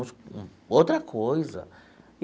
Outra coisa.